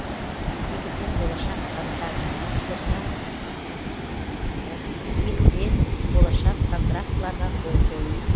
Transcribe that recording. екіден болашақ контаркттарға қол қою